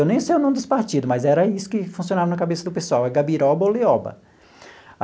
Eu nem sei o nome dos partidos, mas era isso que funcionava na cabeça do pessoal, é Gabiroba ou Lioba.